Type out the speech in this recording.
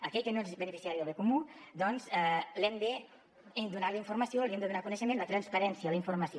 a aquell que no és beneficiari del bé comú doncs li hem de donar informació li hem de donar coneixement la transparència la informació